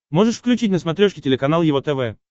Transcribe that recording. можешь включить на смотрешке телеканал его тв